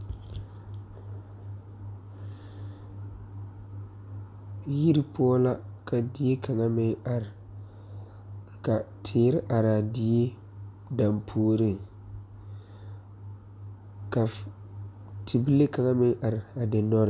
Yiri poɔ la ka die kaŋa meŋ are ka teere araa die dampuoriŋ ka tibile kaŋa meŋ are a dinoɔre.